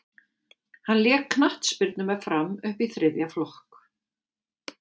hann lék knattspyrnu með fram upp í þriðja flokk